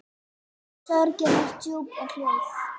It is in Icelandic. Sorgin er djúp og hljóð.